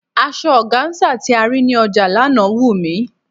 Asọ ọgáńsà tí a rí ní ọjà lánàá wù mí.